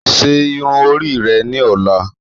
Ṣe irun ori rẹ ni ọla